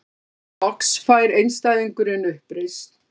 Hér loks fær einstæðingurinn uppreisn.